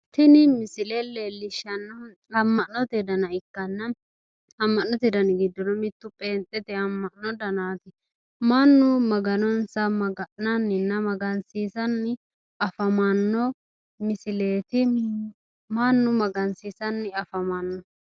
Tini misile leellishshannohu amma'note dana ikkanna amma'note dani giddono mittu pheenxete amma'no danaati mannu maganonsa maga'nananninna magansiisanni afamanno misileeti mannu magansiisanni afamanno.